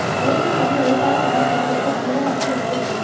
மலேசிய தமிழ் எழுத்தாளர் சங்க தலைவருக்கு தமிழக அரசு இலக்கிய விருது